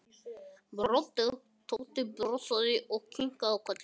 Tóti brosti enn breiðar og kinkaði ákaft kolli til Gerðar.